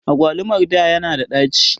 Agwalumar da ya na da ɗaci